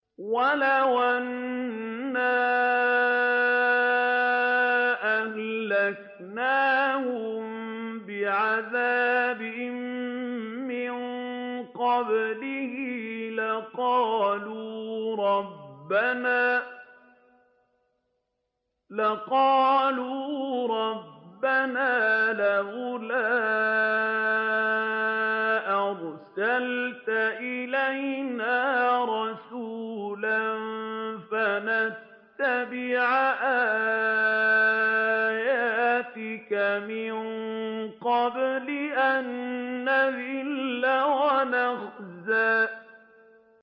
وَلَوْ أَنَّا أَهْلَكْنَاهُم بِعَذَابٍ مِّن قَبْلِهِ لَقَالُوا رَبَّنَا لَوْلَا أَرْسَلْتَ إِلَيْنَا رَسُولًا فَنَتَّبِعَ آيَاتِكَ مِن قَبْلِ أَن نَّذِلَّ وَنَخْزَىٰ